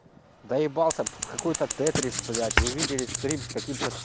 доебался под какой-то тетрис блять вы видели стрим с каким-то